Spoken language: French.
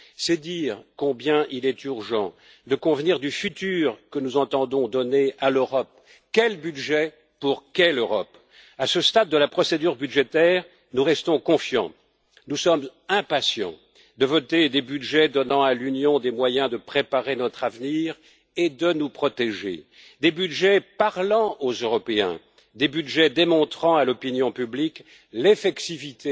C'est dire combien il est urgent de convenir de l'avenir que nous entendons donner à l'Europe. Quel budget pour quelle Europe? À ce stade de la procédure budgétaire, nous restons confiants, nous sommes impatients de voter des budgets donnant à l'Union des moyens de préparer notre avenir et de nous protéger, des budgets parlant aux Européens, des budgets démontrant à l'opinion publique l'effectivité